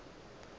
gore go be go se